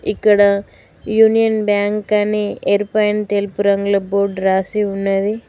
ఇక్కడ Union Bank అని ఎరుపు అండ్ తెలుపు రంగులో బోర్డ్ రాసి ఉన్నది.